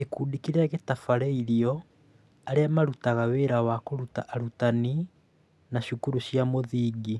Gĩkundi kĩrĩa gĩtabarĩrĩirio: Arĩa marutaga wĩra wa kũruta arutani a cukuru cia mũthingi.